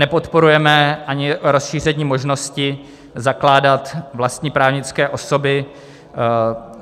Nepodporujeme ani rozšíření možnosti zakládat vlastní právnické osoby.